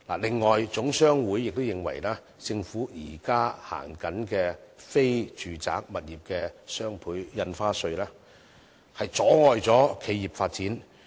此外，總商會亦認為政府現行的非住宅物業雙倍印花稅，阻礙企業發展。